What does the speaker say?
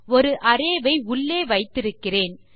ஒரு அரே வை உள்ளே வைத்திருக்கிறோம்